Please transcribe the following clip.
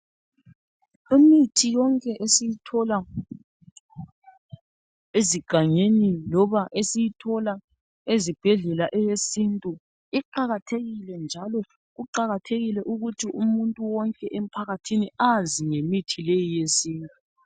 Imithi yonke esiyithola ezigangeni loba esiyithola ezibhedlela eyesintu iqakathekile njalo kuqakathekile ukuthi umuntu wonke emphakathini azi ngemithi leyi eyesintu